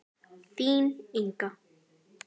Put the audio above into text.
Þín, Inga.